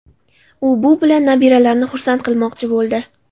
U bu bilan nabiralarini xursand qilmoqchi bo‘ldi.